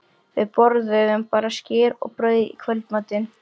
Við borðuðum bara skyr og brauð í kvöldmatinn.